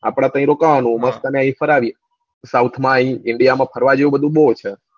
આપડે ત્યાં રોકાવાનું ને મસ્ત આયા મસ્ત તને ફરાવીશ south માં આઈય india માં ફરવા જેવું બવ છ